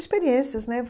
Experiências, né?